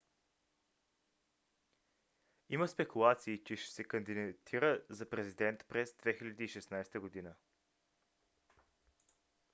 има спекулации че ще се кандидатира за президент през 2016 г